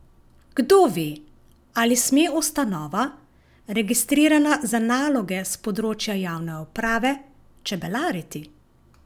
Kdo ve, ali sme ustanova, registrirana za naloge s področja javne uprave, čebelariti?